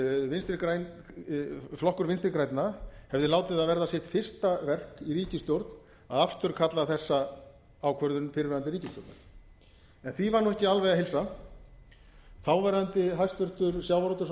það að flokkur vinstri grænna hefði látið það verða sitt fara verk í ríkisstjórn að afturkalla þessa ákvörðun fyrrverandi ríkisstjórnar því var nú ekki alveg að heilsa þáverandi hæstvirtur sjávarútvegs og